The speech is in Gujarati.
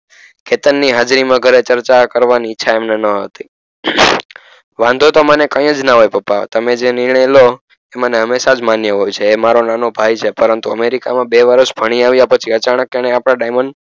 કેતનની હાજરીમાં ઘરે ચર્ચા કરવાની ઈચ્છા એમને નહતી વાંધો તો મને કય જ ના હોય પપ્પા તમે જે નિર્ણય લો એ મને હમેશાજ માન્ય હોય છે એ મારોનાનો ભાઈ છે પરંતુ અમેરિકામા બે વર્ષ ભણી આવ્યા પછી અચાનક એણે આપણા diamond